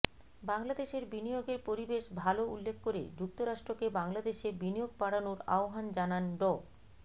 বাংলাদেশের বিনিয়োগের পরিবেশ ভালো উল্লেখ করে যুক্তরাষ্ট্রকে বাংলাদেশে বিনিয়োগ বাড়ানোর আহ্বান জানান ড